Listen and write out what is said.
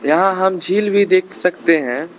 यहां हम झील भी देख सकते हैं।